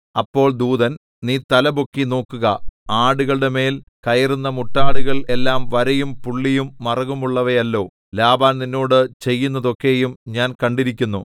അപ്പോൾ ദൂതൻ നീ തലപൊക്കി നോക്കുക ആടുകളുടെമേൽ കയറുന്ന മുട്ടാടുകൾ എല്ലാം വരയും പുള്ളിയും മറുകുമുള്ളവയല്ലോ ലാബാൻ നിന്നോട് ചെയ്യുന്നതൊക്കെയും ഞാൻ കണ്ടിരിക്കുന്നു